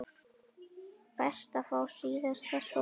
Best að fá síðasta sopann.